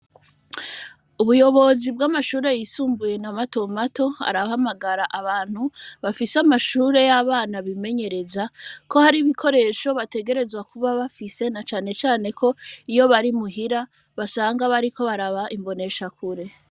Ubuyobozi bw'amashure yisumbuye na matomato, arahamagara abantu bafise amashure y'abana bimenyereza ko hari ibikoresho bategerezwa kuba bafise, na cane cane ko, iyo bari muhira basanga bariko baraba imboneshakure.